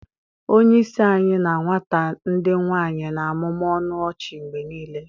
Onye isi anyị na nwata ndị nwanyi na-amụmụ ọnụ ọchị mgbe niile